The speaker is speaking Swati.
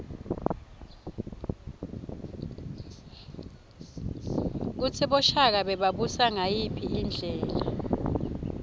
kutsi boshaka bebabusa ngayiphi indlela